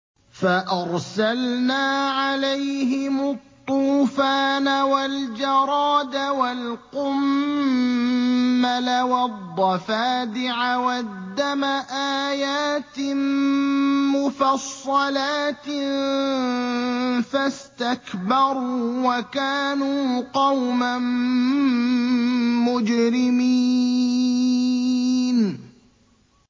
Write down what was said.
فَأَرْسَلْنَا عَلَيْهِمُ الطُّوفَانَ وَالْجَرَادَ وَالْقُمَّلَ وَالضَّفَادِعَ وَالدَّمَ آيَاتٍ مُّفَصَّلَاتٍ فَاسْتَكْبَرُوا وَكَانُوا قَوْمًا مُّجْرِمِينَ